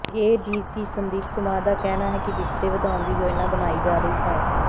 ADC Sandeep Kumar ਦਾ ਕਹਿਣਾ ਹੈ ਕਿ ਬਿਸਤਰੇ ਵਧਾਉਣ ਦੀ ਯੋਜਨਾ ਬਣਾਈ ਜਾ ਰਹੀ ਹੈ